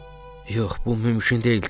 Yox, bu mümkün deyildi.